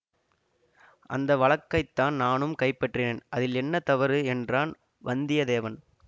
அந்த வழக்கைத்தான் நானும் கைப்பற்றினேன் அதில் என்ன தவறு என்றான் வந்தியதேவன்